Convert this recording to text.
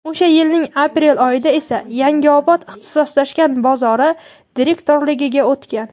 o‘sha yilning aprel oyidan esa "Yangiobod ixtisoslashgan bozori" direktorligiga o‘tgan.